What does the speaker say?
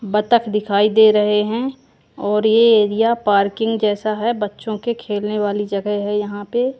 बतख दिखाई दे रहे हैं और ये एरिया पार्किंग जैसा है बच्चों के खेलने वाली जगह है यहां पे।